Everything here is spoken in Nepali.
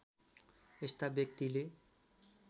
यस्ता व्यक्तिले